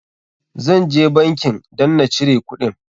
Zan je bankin dan na cire kuɗin.